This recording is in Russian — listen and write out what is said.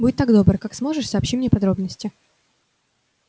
будь так добр как сможешь сообщи мне подробности